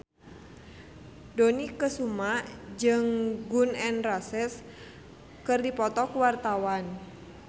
Dony Kesuma jeung Gun N Roses keur dipoto ku wartawan